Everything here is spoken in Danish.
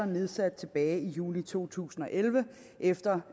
nedsatte tilbage i juli to tusind og elleve efter